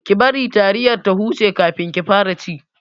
Ki bari taliyar ta huce kafin ki fara ci!